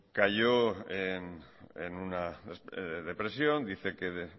calló en una depresión dice que